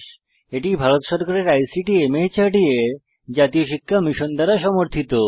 এটি ভারত সরকারের আইসিটি মাহর্দ এর জাতীয় শিক্ষা মিশন দ্বারা সমর্থিত